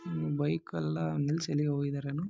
Bike ಎಲ್ಲಾ ನಿಲ್ಸಿ ಎಲ್ಲೋ ಹೋಗಿದ್ದಾರೆ ಏನೋ.